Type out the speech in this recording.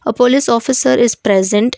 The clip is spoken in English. a police officer is present.